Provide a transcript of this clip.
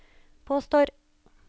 påstår